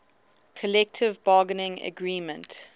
collective bargaining agreement